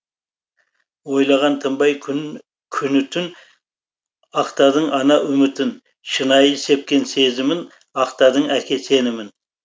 ойлаған тынбай күні түн ақтадың ана үмітін шынайы сепкен сезімін ақтадың әке сенімін